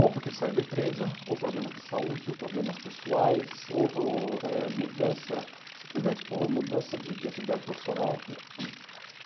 Ou porque saiu da empresa, ou problemas de saúde, ou problemas pessoais, ou ou eh mudança, simplesmente por mudança de de atividade profissional.